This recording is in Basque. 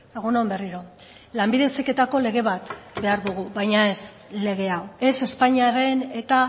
egun on berriro lanbide heziketako lege bat behar dugu baina ez legea ez espainiaren eta